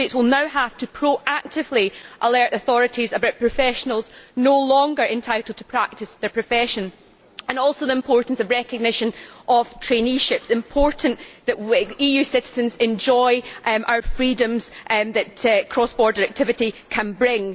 Member States will now have to proactively alert authorities about professionals no longer entitled to practise their profession. On the importance of the recognition of traineeships it is important that EU citizens enjoy our freedoms that cross border activity can bring.